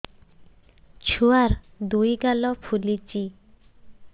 ଛୁଆର୍ ଦୁଇ ଗାଲ ଫୁଲିଚି